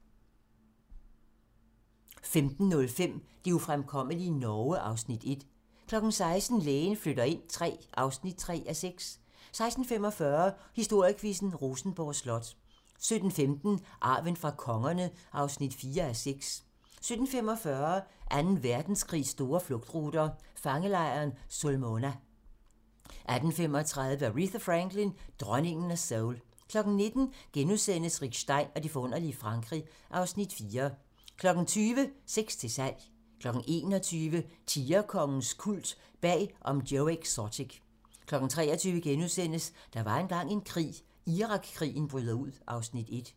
15:05: Det ufremkommelige Norge (Afs. 1) 16:00: Lægen flytter ind III (3:6) 16:45: Historiequizzen: Rosenborg Slot 17:15: Arven fra kongerne (4:6) 17:45: Anden Verdenskrigs store flugtruter - fangelejren Sulmona 18:35: Aretha Franklin: dronningen af soul 19:00: Rick Stein og det forunderlige Frankrig (Afs. 4)* 20:00: Sex til salg 21:00: Tigerkongens kult - bag om Joe Exotic 23:00: Der var engang en krig - Irak-krigen bryder ud (Afs. 1)*